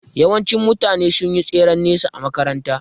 Yawanci mutane sun yi tseren nesa a makaranta